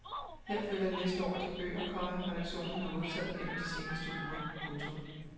Her følger en liste over de bøger, komma redaktionen har modtaget gennem de seneste uger. punktum